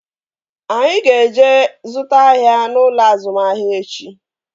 Anyị ga-eje zụta ahịa n'ụlọ azụmahịa echi